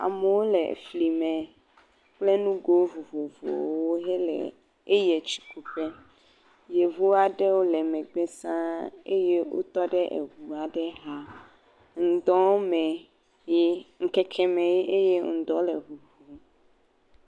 Amewo le fli me kple nugo vovovowo hele tsikuƒe. Yevu aɖewo le megbe saa eye wotɔ ɖe yevu aɖe xa. Ŋdɔ me ye ŋkeke me ye eye ŋdɔ le ŋuŋum.